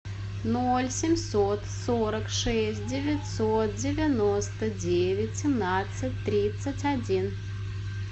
ноль семьсот сорок шесть девятьсот девяносто девять семнадцать тридцать один